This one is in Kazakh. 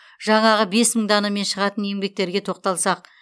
жаңағы бес мың данамен шығатын еңбектерге тоқталсақ